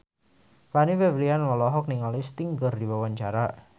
Fanny Fabriana olohok ningali Sting keur diwawancara